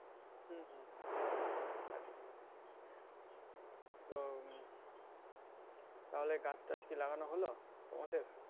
হুম হুম হুম তা ঠিকিই তো উম তাহলে গাছটাছ কি লাগানো হলো তোমাদের